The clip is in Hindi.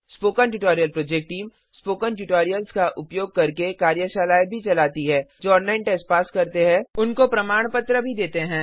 spoken tutorial project team spoken tutorials का उपयोग करके कार्यशालाएं भी चलती है और ऑनलाइन टेस्ट पास करने वालों को प्रमाणपत्र देते हैं